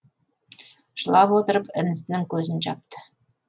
жылап отырып інісінің көзін жапты